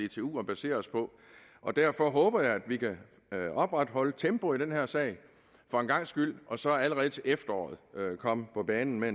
dtu at basere os på og derfor håber jeg at vi kan opretholde tempoet i den her sag for en gangs skyld og så allerede til efteråret komme på banen med